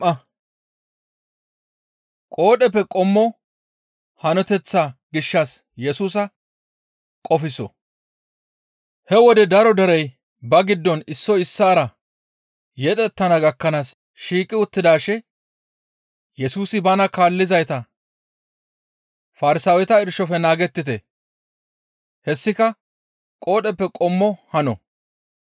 He wode daro derey ba giddon issoy issaara yedhettana gakkanaas shiiqi uttidaashe Yesusi bana kaallizayta, «Farsaaweta irshofe naagettite; hessika qoodheppe qommo hano.